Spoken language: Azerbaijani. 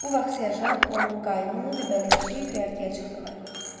Bu vaxt serjant, onun qaynı və bələdçi göyərtəyə çıxdılar.